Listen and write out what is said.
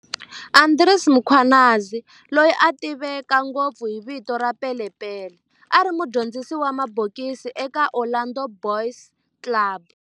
Andries Mkhwanazi, loyi a tiveka ngopfu hi vito ra"Pele Pele", a ri mudyondzisi wa mabokisi eka Orlando Boys Club